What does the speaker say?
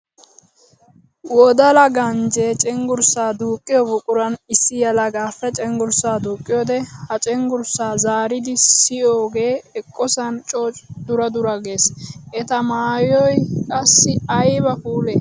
Wodalla ganjje cenggurssa duuqqiya buquran issi yelagappe cenggurssa duuqqiyoode ha cenggurssa zaariddi siyiyooge eqqosan coo dura dura gees. Etta maayoy qassi aybba puule!